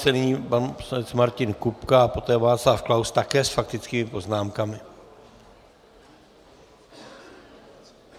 Nyní pan poslanec Martin Kupka a poté Václav Klaus, také s faktickými poznámkami.